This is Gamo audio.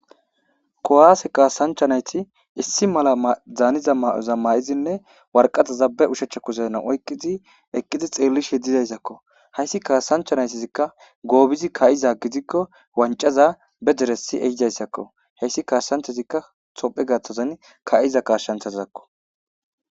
kowaase kaasancha nayti issi mala daaniza ma'oza ma7izinne warqata zabe ushachcha kuzena oyqizi eqqidi xeellish hedidayssakko hayssi kaasanchanaytizikka goobizi ka7iza gidikko wancaza be deresi ehidayssakko heyssi kaashsanthazikka sophe gaththozan ka7iza kaashshanthazakko